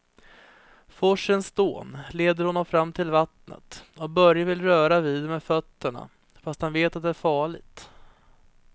Forsens dån leder honom fram till vattnet och Börje vill röra vid det med fötterna, fast han vet att det är farligt.